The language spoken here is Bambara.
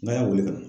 N'a y'a wele ka